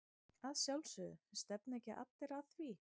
Að sjálfsögðu, stefna ekki allir að því?